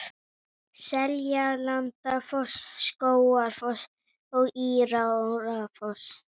Seljalandsfoss, Skógafoss og Írárfoss.